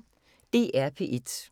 DR P1